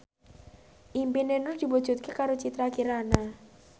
impine Nur diwujudke karo Citra Kirana